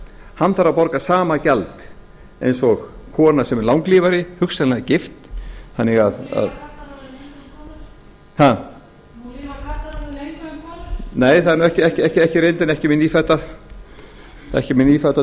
hann þarf að borga sama gjald eins og kona sem er langlífari hugsanlega gift nú lifa karlarnir lengur en konur nei það er nú ekki reyndin ekki með nýfædda